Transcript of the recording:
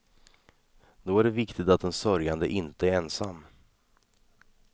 Då är det viktigt att den sörjande inte är ensam.